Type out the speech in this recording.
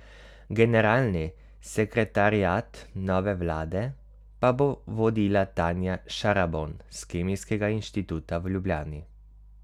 Generalni sekretariat nove vlade pa bo vodila Tanja Šarabon s Kemijskega inštituta v Ljubljani.